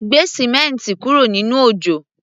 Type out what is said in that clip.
Gbé símẹ́ǹti kúrò nínú òjò!